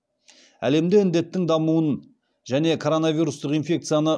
әлемде індеттің дамуын және коронавирустық инфекцияны